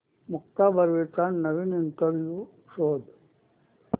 मुक्ता बर्वेचा नवीन इंटरव्ह्यु शोध